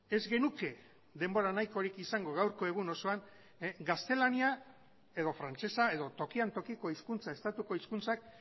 ez genuke denbora nahikorik izango gaurko egun osoan gaztelania edo frantsesa edo tokian tokiko hizkuntza estatuko hizkuntzak